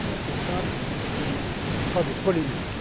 il est assez simple et ne suscite pas de polémique.